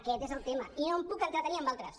aquest és el tema i no em puc entretenir amb altres